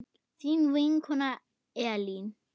Þín vinkona Elín.